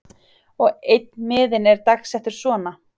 Og einn miðinn er dagsettur svona